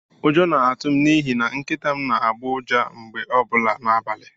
Ụjọ na-atụ m n'ihi na Nkịta m n'agbọ ụja mgbe ọbụla n'abalị.